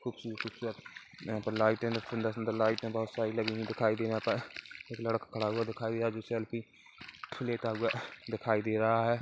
खूबसूरत खूबसूरत यहाँ पे लाइट है सुंदर सुंदर लाइट है दभोत सारी लगी हुई दिखाई दे यहाँ पर एक लड़का खड़ा हुआ दिखाई दे रहा जो सेल्फी लेता हुआ दिखाई दे रहा है।